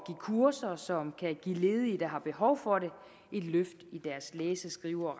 kurser som kan give ledige der har behov for det et løft i deres læse skrive og